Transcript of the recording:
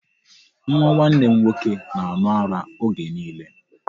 Nwa nwanne m nwoke na-aṅụ ara oge niile.